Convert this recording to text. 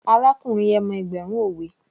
Arákùnrin yẹn mọ ẹgbẹ̀rún òwe